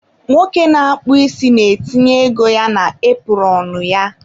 nwoke na-akpụ isi na-etinye ego ya na epụrọnụ ya